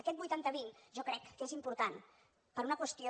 aquest vuitanta vint jo crec que és important per una qüestió